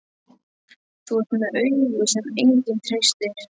Fann hann ekki nema annan fótinn á þér?